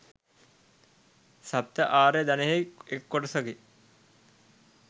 සප්ත ආර්ය ධනයෙහි එක් කොටසකි.